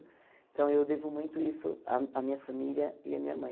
Então eu devo muito isso à à minha família e à minha mãe.